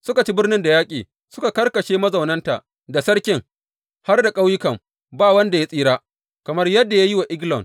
Suka ci birnin da yaƙi, suka karkashe mazaunanta, da sarkin, har da ƙauyukan, ba wanda ya tsira kamar yadda ya yi wa Eglon.